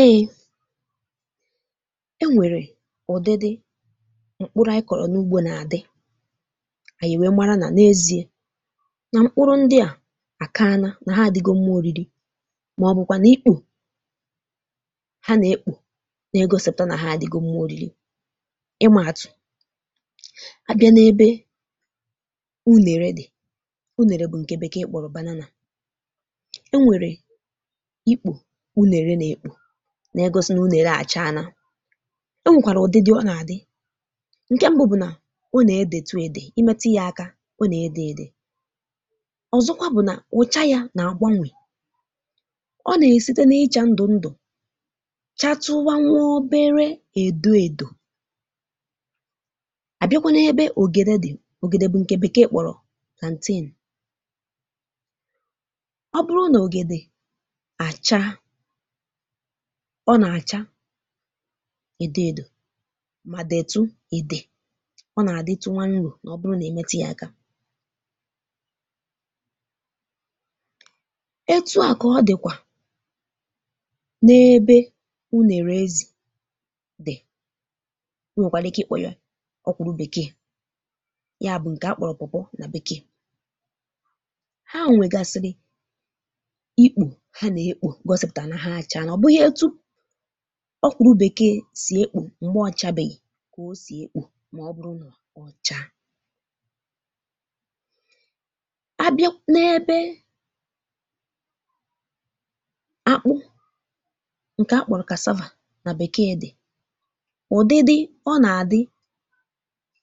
Ee enwèrè ụ̀dịdị mkpụrụ̇ anyị kọ̀rọ̀ n’ugbȯ nà-àdị, ànyị nwee mara nà n’ezi̇e, nà mkpụrụ ndị à àkaana, nà ha àdịgo mma ȯriri, màọ̀bụ̀kwà nà, ikpù ha nà-ekpù nà-egȯsị̀pụ̀ta nà ha àdịgo mma ȯriri. Ịma-àtụ̀, a bịa n’ebe unèrè dị̀, unèrè bụ̀ ǹkè bekee kpọ̀rọ̀, enwere ikpù unèrè nà-ekpù, nà-egosi nà unèrè àcha na. Onwèkwàrà ụdị dị ọ nà-àdị: Ǹke mbụ bụ̀ nà ọ nà-edètù èdè, imetu yȧ aka ọ nà-ede edè. Ọzọkwa bụ̀ nà, ụ̀cha yȧ nà-àgba nwè, ọ nà-èsite n’ịchȧ ndụ̀ ndụ̀, chatụwa nwa obere èdo èdò. Àbịakwa n’ebe ògèdè dị̀, ògèdè bụ̀ ǹkè bekee kpọ̀rọ̀ plantain, ọ bụrụ nà ògèdè àcha ọ nà-àcha èdò èdò mà detụ èdè, ọ nà-àdịtụ nwánru̇, mà ọ bụrụ nà imetu ya ekȧ. Etua ka ọdịkwa na ebe unèrè-ezi dị, e nwekwara ike ịkpọ ya ọkwụrụ bekee, ya bụ nke akpọrọ na bekee. Ha nwegasìri ikpù ha na ekpù, gosipụtara na ha acha na. Ọ bụghị etu ọkwụrụ bekee si ekpù m̀gbè ọcha bèghì, kà o sì ekpù màọ̀bụ̀rụ̀ nọ̀ ọ̀cha. A bịa n’ebe akpụ ǹkè akpọrụ̀ nà bekee dị̀, ụ̀dịdị ọ nà-àdị,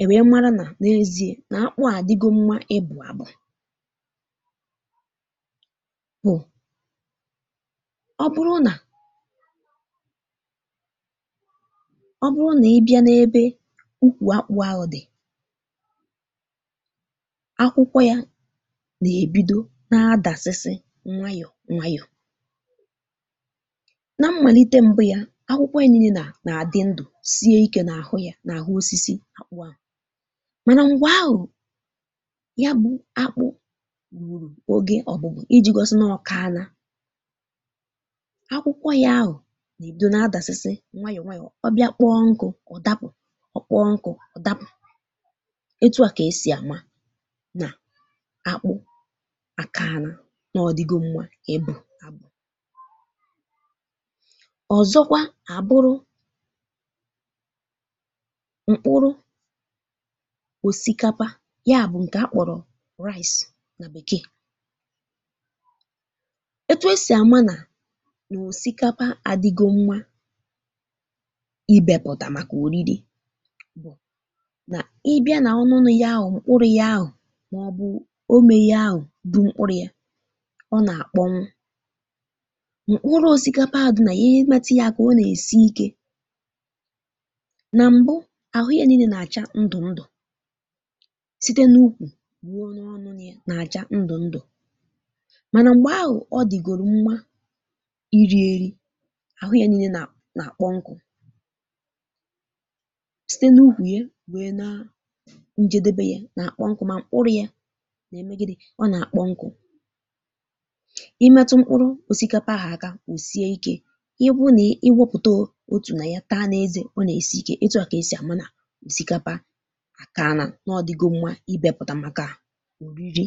ènwèe mara nà n’eziė nà akpụ à adịgo mma ịbụ̇ àbụ bụ, ọ bụrụ nà, ọ bụrụ nà, ị bịa n’ebe ukwù akpụ̇ ahụ dị̀, akwụkwọ yȧ nà-èbido na-adàsịsị nwayọ̀ nwayọ̀. Na mmàlite m̀bụ́ ya, akwụkwọ ya n'ine nà nà-àdị ndù, sie ikė n’àhụ ya, n’àhụ osisi àkpụ ahụ, mànà mgbe ahụ̀ ya bụ̇ akpụ rụ̀rụ̀ oge ọ̀gbụ̀gbụ̀, iji̇ gọsịna ọkàana, akwụkwọ ya ahụ ga ebido na adasị́sị́ nwayọ̀ nwayọ̀, ọ bịa kpọọ nkụ, ọ̀ dapụ̀, ọ̀ kpọọ nkụ, ọ̀ dapụ̀, etu̇ a kà esì àma nà akpụ àkaana, nà ọ̀ dịgo mmȧ ibọpụ̀ta. Ọ̀zọkwa àbụrụ mkpụrụ òsìkápá, ya bụ̀ ǹkè a kpọ̀rọ̀ nà bèkee, etu esi ama na òsìkápá adịgo mma ibėpụ̀tà màkà òriri, nà ibia nà ọnụnụ ya ahụ̀, mkpụrụ̇ ya ahụ̀, màọ̀bụ̀ o mėghe ya ahụ̀, bu mkpụrụ yȧ, ọ nà-àkpọnwụ. Mkpụrụ òsìkápá ahụ dị nà, i metụ yȧ akà ọ nà-èsi ikė. Nà m̀bụ, àhụ yȧ n'ine nà-àcha ndụ̀ ndụ̀, site n’ukwù ruo na ọnụ ya, nà-àcha ndụ̀ ndụ̀, mànà m̀gbè ahụ̀, ọ dị̀gòrò mma irí eri, àhụ ya n'inė nà nà-àkpọ nkụ̇, site n’ukwù ya ruo na njẹdebe ya nà-àkpọ nkụ́, mà mkpụrụ yȧ nà eme gịnị, ọ nà-àkpọ nkụ̇. Ịmẹtụ mkpụrụ osikapa àhù aka, osie ikė, ọ bụ nà ị wẹpụ̀ta òtù nà ya taa n’ezė, ọ nà-èsi ikė, ẹtụ à kà ẹsị̀ àma nà òsìkápá à kaana, nà-ọdigó mmȧ ibėpụ̀tà màkà òriri.